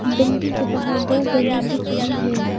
Building के बाहर दो बैनर दिख रही है।